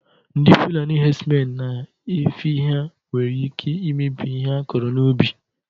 Ndị fulani hedsmen na efi ha nwere ike imebi ihe akọrọ n'ubi